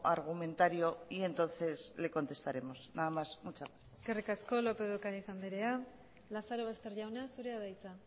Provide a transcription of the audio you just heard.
argumentario y entonces le contestaremos nada más muchas gracias eskerrik asko lópez de ocariz andrea lazarobaster jauna zurea da hitza